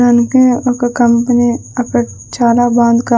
అందుకే ఒక కంపెనీ అక్కడ చాలా బాగుంది కా--